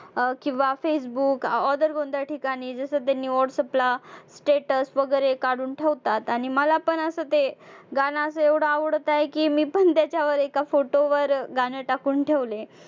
अं किंवा facebook other कोणत्या ठिकाणी जसं ते status वगैरे काढून ठेवतात आणि मला पण असं ते गाणं असं एवढं आवडत आहे की मी पण त्याच्यावर एका photo वर गाणं टाकून ठेवलंय.